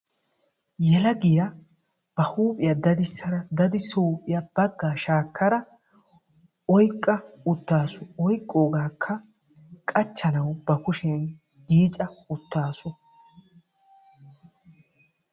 yelagiya ba huuphiya daddisada, daddisido huuphiya bagaa shaakada oyqqa utaasu, oyqoogaaka qachchanawu ba kushiya yiicca uttaasu.